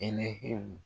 Hɛnɛw